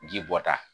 Ji bɔta